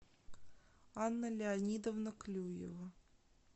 анна леонидовна клюева